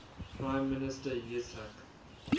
prime minister yitzhak